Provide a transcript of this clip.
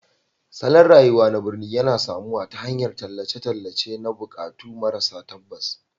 Salon rayuwa na birni yana samuwa ta hanyar tallan tallace-tallace na buƙatu maras tabbas